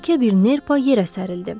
Yekə bir nerpa yerə sərildi.